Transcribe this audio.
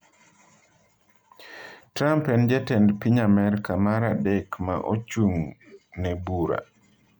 Trump en jatend piny Amerka mar adek ma ochung’ne bura.